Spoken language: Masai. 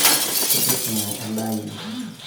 tipising edaa enoo